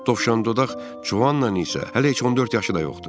Tovşandodaq Juanın isə hələ heç 14 yaşı da yoxdur.